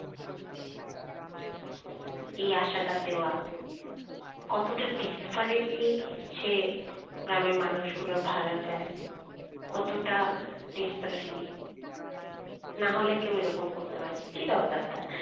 এই আসাটা দেওয়া কতোটা desperately সে গ্রামের মানুষ গুলোর ভাল চায় কতোটা desperately না হলে কেউ এরম করতে পারনা কি দরকার তার